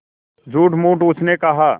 झूठमूठ उसने कहा